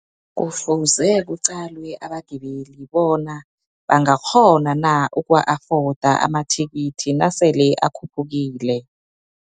Kufuze kuqalwe abagibeli bona bangakghona na, ukuwa afoda amathikithi, nasele akhuphukile.